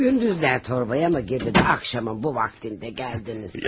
Gündüzlər torbaya mı girdin, axşamın bu vaxtında gəldiniz.